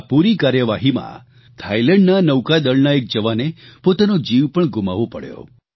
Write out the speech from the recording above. આ પૂરી કાર્યવાહીમાં થાઇલેન્ડના નૌકાદળના એક જવાને પોતાનો જીવ પણ ગુમાવવો પડ્યો